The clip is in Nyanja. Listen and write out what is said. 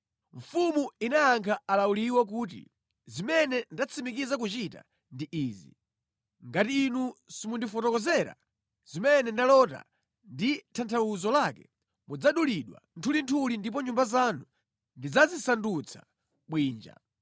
Mfumu inayankha alawuliwo kuti, “Zimene ndatsimikiza kuchita ndi izi: Ngati inu simundifotokozera zimene ndalota ndi tanthauzo lake, mudzadulidwa nthulinthuli ndipo nyumba zanu ndidzazisandutsa bwinja.